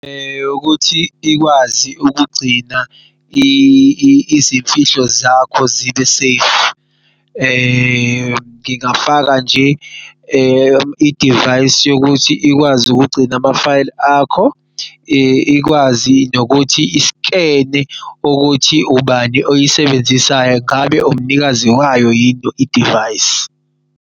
Yokuthi ikwazi ukugcina izimfihlo zakho zibe-safe ngingafaka nje i-device yokuthi ikwazi ukugcina ama-file akho, ikwazi nokuthi iskene ukuthi ubani oyisebenzisayo ngabe umnikazi wayo yini i-device.